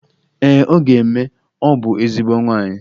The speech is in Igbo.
Ee ọ ga-eme, ọ bụ ezigbo nwaanyi